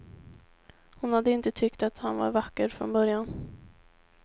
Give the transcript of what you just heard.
Hon hade inte tyckt att han var vacker från början.